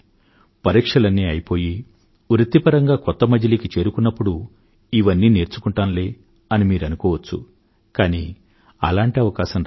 పరీక్షలన్నీ అయిపోయి వృత్తిపరంగా కొత్త మజిలీకి చేరుకున్నప్పుడు ఇవన్నీ నేర్చుకుంటాంలే అని మీరనుకోవచ్చు కానీ అలాంటి అవకాశం రాదు